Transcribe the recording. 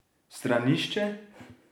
Stranišče?